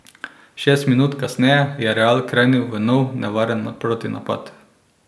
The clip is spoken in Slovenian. Šest minut kasneje je Real krenil v nov nevaren protinapad.